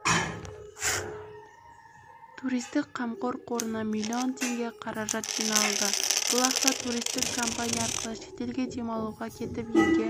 туристік қамқор қорында миллион теңге қаражат жиналды бұл ақша туристік компания арқылы шетелге демалуға кетіп елге